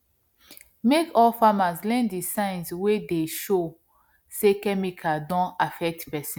make all farmer learn the the signs wey dey show say chemical don affect person